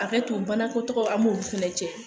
Hakɛtu bana ku tɔgɔ, an b'u fɛnɛ cɛ